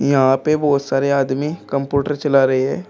यहां पे बहुत सारे आदमी कंप्यूटर चला रहे है।